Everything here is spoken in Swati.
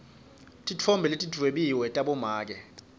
titfombe letidwebiwe tabomake